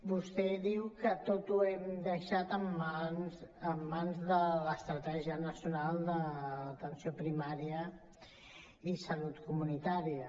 vostè diu que tot ho hem deixat en mans de l’estratègia nacional d’atenció primària i salut comunitària